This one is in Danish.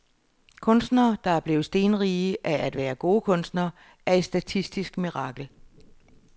Kunstnere, der er blevet stenrige af at være gode kunstnere, er et statistisk mirakel.